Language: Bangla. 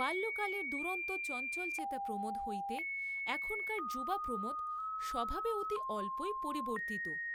বাল্যকালের দুরন্ত চঞ্চলচেতা প্রমোদ হইতে এখনকার যুবা প্রমোদ স্বভাবে অতি অল্পই পরিবর্তিত।